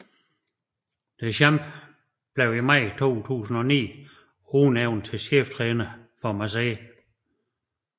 Deschamps blev i maj 2009 udnævnt som cheftræner for Marseille